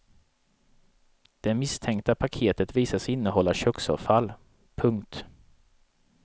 Det misstänkta paketet visar sig innehålla köksavfall. punkt